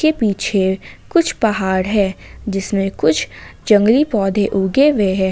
के पीछे कुछ पहाड़ है जिसमें कुछ जंगली पौधे उगे हुए हैं।